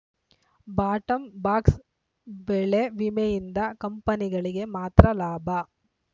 ಬಾಟಂಬಾಕ್ಸ ಬೆಳೆ ವಿಮೆಯಿಂದ ಕಂಪನಿಗಳಿಗೆ ಮಾತ್ರ ಲಾಭ